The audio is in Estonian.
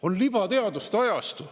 On libateaduste ajastu.